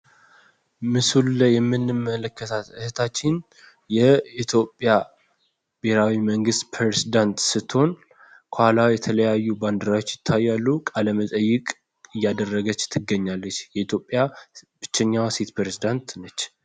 ምስሉ ላይ የምንመለከታት እህታችን የኢትዮጵያ ብሔራዊ መንግስት ፕሬዝዳንት ስትሆን ከኋላዋ የተለያዩ ባንድራዎች ይታያሉ። ቃለመጠይቅ እያደረገች ትገኛለች። የኢትዮጵያ ብቸኛዋ ሴት ፕሬዚዳንት ነች።